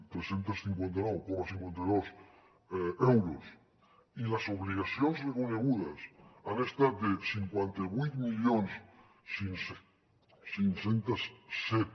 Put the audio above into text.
tres cents i cinquanta nou coma cinquanta dos euros i les obligacions reconegudes han estat de cinquanta vuit mil cinc cents i set